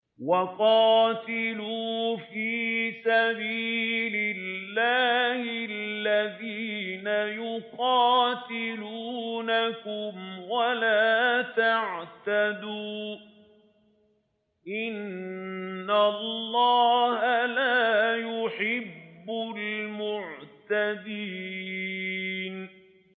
وَقَاتِلُوا فِي سَبِيلِ اللَّهِ الَّذِينَ يُقَاتِلُونَكُمْ وَلَا تَعْتَدُوا ۚ إِنَّ اللَّهَ لَا يُحِبُّ الْمُعْتَدِينَ